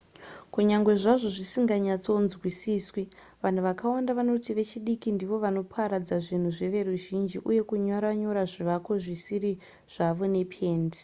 kunyange zvazvo zvisinganyatsonzwisiswi vanhu vakawanda vanoti vechidiki ndivo vanoparadza zvinhu zveveruzhinji uye kunyora nyora zvivako zvisiri zvavo nependi